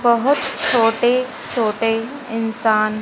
बहोत छोटे-छोटे इंसान --